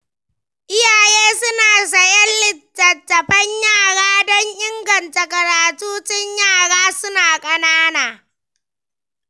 Iyaye suna sayen littattafan yara don inganta karatu tun yaran suna ƙanana.